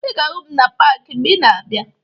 Ị ga-ahụ m na paakị mgbe ị ga-abịa